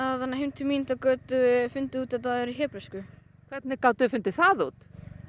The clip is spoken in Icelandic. heim til mín þá gátum við fundið út að þetta væri á hebresku hvernig gátuð þið fundið það út